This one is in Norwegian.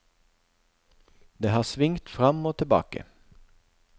Det har svingt fram og tilbake.